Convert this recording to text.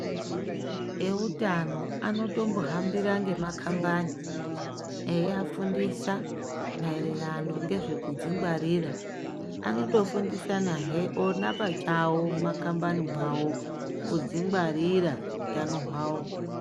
Ehutano anotombohambira emakambani Eivafundisa maererano Nekudzingwarira anotofundisa he ona pachawo mumakambani awo kuzvingwarira hutano hwavo.